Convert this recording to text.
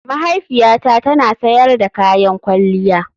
Mahaifiyata tana sayar da kayan kwalliya.